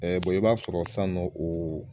Ɛɛ bɔri i b'a sɔrɔ san nɔ oo